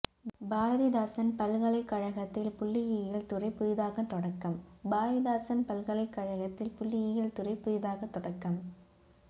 பாரதிதாசன் பல்கலைக்கழகதில் புள்ளியியல் துறை புதிதாக தொடக்கம் பாரதிதாசன் பல்கலைக்கழகதில் புள்ளியியல் துறை புதிதாக தொடக்கம்